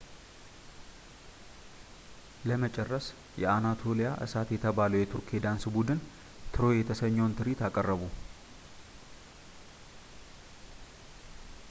ለመጨረስ የአናቶሊያ እሳት የተባለው የቱርክ የዳንስ ቡድን ትሮይ የተሰኘውን ትርኢት አቀረቡ